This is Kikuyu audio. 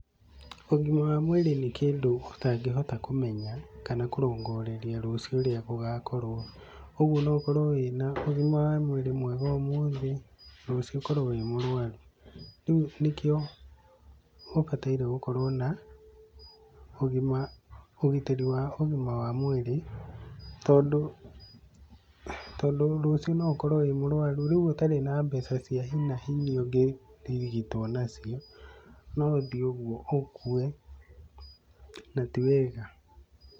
Ũgima wa mwĩrĩ nĩ kĩndũ ũtangihota kũmenya kana kũrongoreria rũciũ ũrĩa gũgakorwo. Ũguo no ũkorwo wĩna ũgima wa mwĩrĩ mwega ũmũthĩ, rũciũ ũkorwo wi mũrũaru. Rĩu nĩkĩo ũbataire gũkorwo na ũgima ũgitĩri wa ũgima wa mwĩrĩ tondũ tondũ rũciũ no ũkorwo wĩ mũrũaru, rĩu ũtarĩ na mbeca cia hi na hi iria ũngĩrigitwo na cio no ũthiĩ ũguo ũkue, na ti wega.